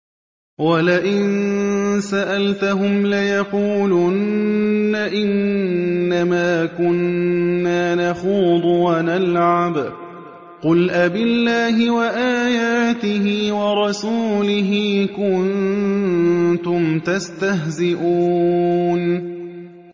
وَلَئِن سَأَلْتَهُمْ لَيَقُولُنَّ إِنَّمَا كُنَّا نَخُوضُ وَنَلْعَبُ ۚ قُلْ أَبِاللَّهِ وَآيَاتِهِ وَرَسُولِهِ كُنتُمْ تَسْتَهْزِئُونَ